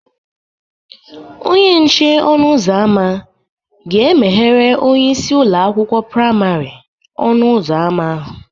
Onye nche ọnụ ụzọ ámá ga-emeghere onyeisi ụlọ akwụkwọ praimarị ọnụ ụzọ ámá ahụ